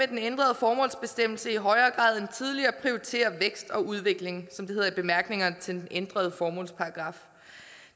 den ændrede formålsbestemmelse i højere grad end tidligere prioritere vækst og udvikling som det hedder i bemærkningerne til den ændrede formålsparagraf